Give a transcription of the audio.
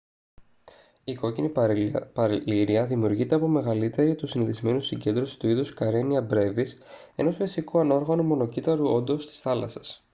η κόκκινη παλίρροια δημιουργείται από μεγαλύτερη του συνηθισμένου συγκέντρωση του είδους karenia brevis ενός φυσικού ανόργανου μονοκύτταρου όντος της θάλασσας